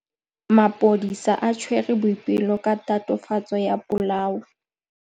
Maphodisa a tshwere Boipelo ka tatofatsô ya polaô.